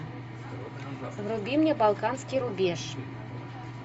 вруби мне балканский рубеж